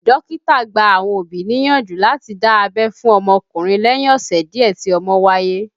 Dókítà gba àwọn òbí níyànjú láti dá abẹ́ fún ọmọkùnrin lẹ́yìn ọ̀sẹ̀ díẹ̀ tí ọmọ wáyé